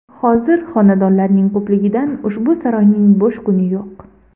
Hozir xonandalarning ko‘pligidan, ushbu saroyning bo‘sh kuni yo‘q.